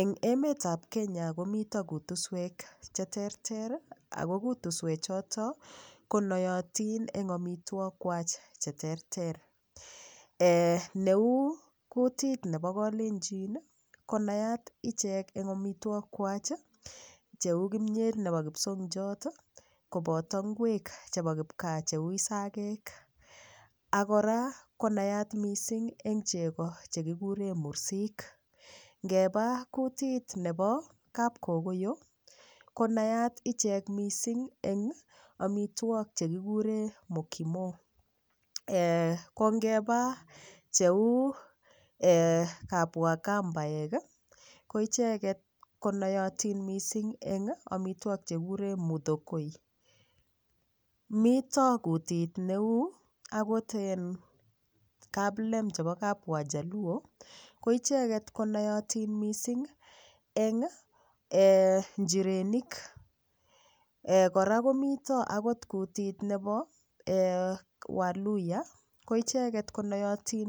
Eng' emetab Kenya komito kutuswek cheterter ako kutuswechoto konoyotin eng' omitwokwach cheterter neu kutit nebo kalenjin konayat ichek eng' omitwokwach cheu kimyet nebo kipsokiot koboto ngwek chebo kipkaa cheu isakek akora konayat mising' eng' chego chekikure mursik ngeba kutit nebo kapkokoyo konayat ichek mising' eng' omitwok chekikure mokimo ko ngeba cheu kapwakambaek ko icheget konayotin mising' eng' omitwok chekikure muthokoi mito kutit neu okot kaplem chebo kapwajaluo ko icheget ko noyotin mising' eng' njirenik kora komito kutit nebo waluiya ko icheget ko noyotin